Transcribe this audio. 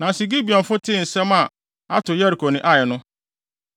Nanso Gibeonfo tee asɛm a ato Yeriko ne Ai no,